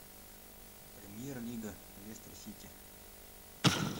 премьер лига лестер сити